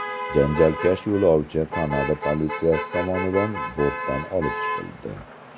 Janjalkash yo‘lovchi Kanada politsiyasi tomonidan bortdan olib chiqildi.